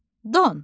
Don.